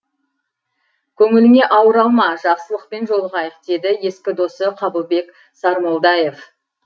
көніліңе ауыр алма жақсылықпен жолығайық деді ескі досы қабылбек сармолдаев